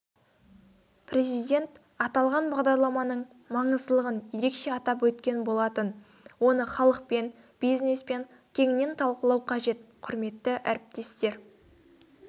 президент аталған бағдарламаның маңыздылығын ерекше атап өткен болатын оны халықпен бизнеспен кеңінен талқылау қажет құрметті әріптестер